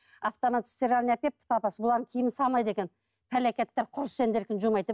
автомат стиральный әкеліпті папасы бұлардың киімін салмайды екен пәлекеттер құры сендердікін жумайды деп